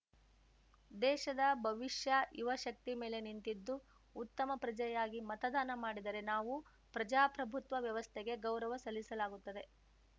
ದೇಶದ ಭವಿಷ್ಯ ಯುವ ಶಕ್ತಿ ಮೇಲೆ ನಿಂತಿದ್ದು ಉತ್ತಮ ಪ್ರಜೆಯಾಗಿ ಮತದಾನ ಮಾಡಿದರೆ ನಾವು ಪ್ರಜಾಪ್ರಭುತ್ವ ವ್ಯವಸ್ಥೆಗೆ ಗೌರವ ಸಲ್ಲಿಸಲಾಗುತ್ತದೆ